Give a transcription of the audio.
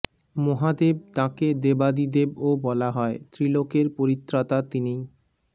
মহাদেব তাঁকে দেবাদিদেবও বলা হয় ত্রিলোকের পরিত্রাতা তিনিই